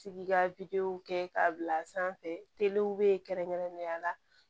Tigi ka kɛ k'a bila sanfɛ telew be yen kɛrɛnkɛrɛnnenya la